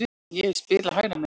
Ég hef spilað hægra megin.